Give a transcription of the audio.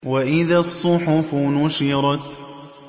وَإِذَا الصُّحُفُ نُشِرَتْ